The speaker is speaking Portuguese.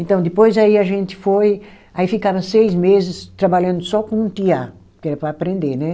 Então, depois aí a gente foi, aí ficava seis meses trabalhando só com o tear, que era para aprender, né?